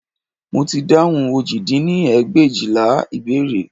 Mo ti dáhùn òjì dín ní ẹgbẹ̀éjìlá ìbéèrè